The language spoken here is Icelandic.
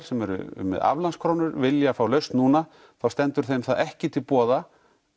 sem eru með aflandskrónur vilja fá lausn núna þá stendur það þeim ekki til boða